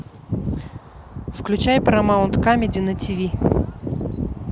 включай парамаунт камеди на тв